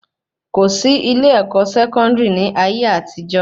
Kòsí ilé-ẹ̀kọ́ Sẹkọndiri ni ayé àtijó